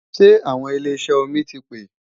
Ṣé àwọn ilé ìṣẹ́ omi ti pè